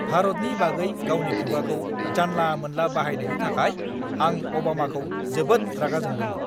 भारतनि बागै गावनि खुगाखौ जानला-मोनला बाहायनायनि थाखाय आं अबामाखौ जोबोद रागा जोंदोंमोन!